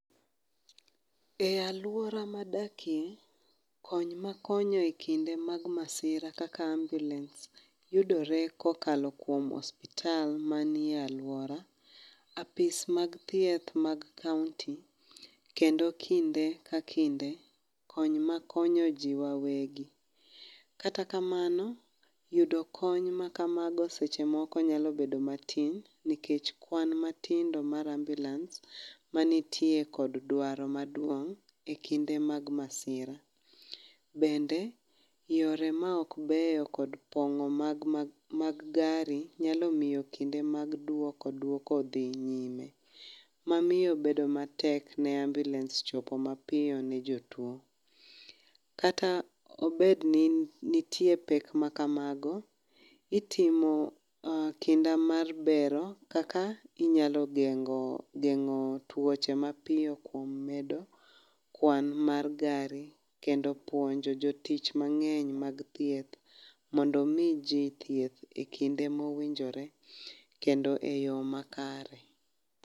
E alwora madakie, kony makonyo e kinde mag masira kaka ambulens yudore kokalo kuom osiptal manie alwora, apis mag thieth mag kaonti kendo kinde ka kinde, kony makonyo ji wawegi. Kata kamano, yudo kony makamago seche moko nyalo bedo matin nikech kwan matindo mar ambulens manitie kod dwaro maduong',e kinde mag masira. Bende, yore ma ok beyo kod pong'o mag gari nyalo miyo kinde mag dwoko dwoko dhi nyiem, mamiyo bedo matek ne ambulens chopo mapiyo ne jotuwo. Kata obedni nitie pek makamago, itimo kinda mar bero kaka inyalo genng'o tuoche mapiyo kuom medo kwan mar gari kendo puonjo jotich mang'eny mag thieth mondo omi ji thieth e kinde mowinjore, kendo e yo makare.